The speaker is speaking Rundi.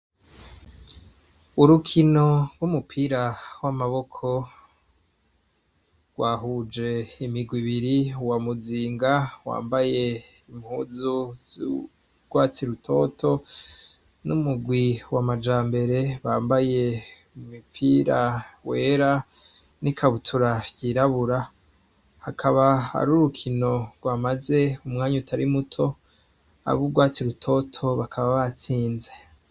Urukino rw'umupira w'amaboko rwahuje imigwi ibiri wa muzinga wambaye impuzu z'urwatsi rutoto n'umugwi wa majambere bambaye umupira wera n'ikabutura yirabura hakaba ari urukino rwamaze umwanya utari muto ab'urwatsi rutoto bakaba batsinze